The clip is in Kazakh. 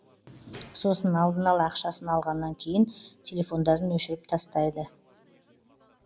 сосын алдын ала ақшасын алғаннан кейін телефондарын өшіріп тастайды